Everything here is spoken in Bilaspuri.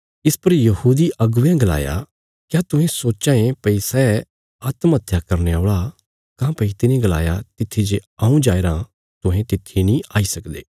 इस पर यहूदी अगुवेयां गलाया क्या तुहें सोच्चां ये भई सै आत्म हत्या करने औल़ा काँह्भई तिने गलाया तित्थी जे हऊँ जाईराँ तुहें तित्थी नीं आई सकदे